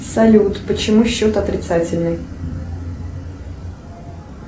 салют почему счет отрицательный